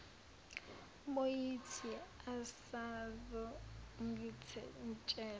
bo yithi usazongitshela